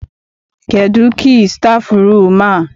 Kedụ kii stafụrum a?